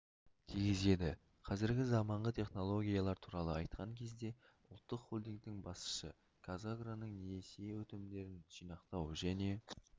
тигізеді қазіргі заманғы технологиялар туралы айтқан кезде ұлттық холдингтің басшысы қазагроның несие өтінімдерін жинақтау және